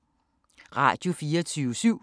Radio24syv